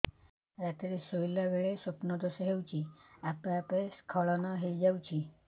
ରାତିରେ ଶୋଇଲା ବେଳେ ସ୍ବପ୍ନ ଦୋଷ ହେଉଛି ଆପେ ଆପେ ସ୍ଖଳନ ହେଇଯାଉଛି